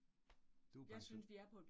Du pension